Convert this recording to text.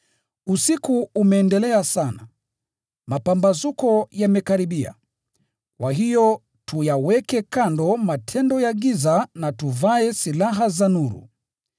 Usiku umeendelea sana, mapambazuko yamekaribia. Kwa hiyo tuyaweke kando matendo ya giza na tuvae silaha za nuru.